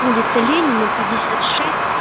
улица ленина пятьдесят шесть